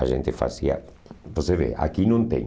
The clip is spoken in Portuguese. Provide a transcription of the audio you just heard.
A gente fazia... Você vê, aqui não tem.